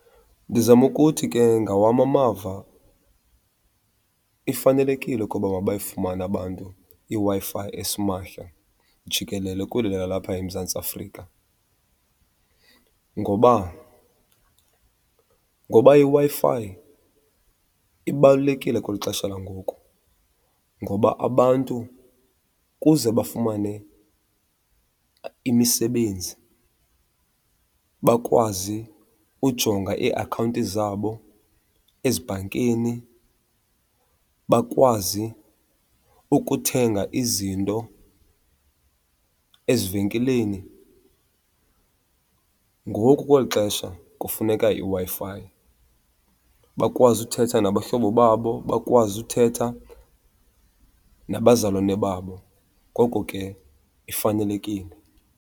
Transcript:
Ndizama ukuthi ke ngawam amava ifanelekile ukuba mabayifumane abantu iWi-Fi esimahla jikelele kweli lalapha eMzantsi Afrika. Ngoba? Ngoba iWi-Fi ibalulekile kweli xesha langoku ngoba abantu kuze bafumane imisebenzi, bakwazi ujonga iiakhawunti zabo ezibhankeni, bakwazi ukuthenga izinto ezivenkileni ngoku kweli xesha kufuneka iWi-Fi. Bakwazi uthetha nabahlobo babo, bakwazi uthetha nabazalwane babo, ngoko ke ifanelekile.